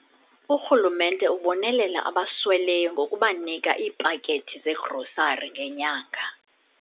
Urhulumente ubonelela abasweleyo ngokubanika iipakethi zegrosari ngenyanga.